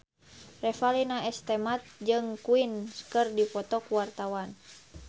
Revalina S. Temat jeung Queen keur dipoto ku wartawan